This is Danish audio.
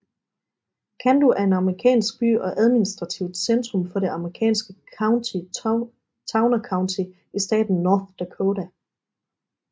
Cando er en amerikansk by og administrativt centrum for det amerikanske county Towner County i staten North Dakota